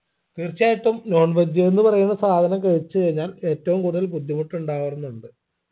തീർച്ചയായിട്ടും non veg ന്ന് പറയുന്ന സാധനം കഴിച്ച് കഴിഞ്ഞാൽ ഏറ്റവും കൂടുതൽ ബുദ്ധിമുട്ട് ഉണ്ടാവാറുമുണ്ട്